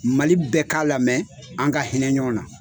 Mali bɛ ka lamɛn an ga hinɛ ɲɔn na